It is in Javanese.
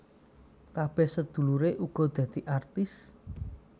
Kabeh sedulure uga dadi artis